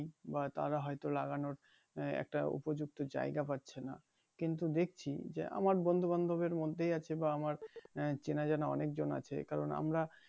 বা তারা হয়তো লাগানোর একটা উপযুক্ত জায়গা পাচ্ছে না কিন্তু দেখছি যে আমার বন্ধু বান্ধবের মধ্যেই আছে বা আমার চিনা জানা অনেকজন আছে কারন আমরা